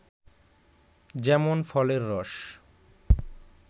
যেমন ফলের রস